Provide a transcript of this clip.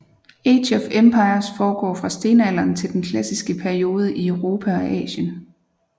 Age of Empires foregår fra stenalderen til den klassiske periode i Europa og Asien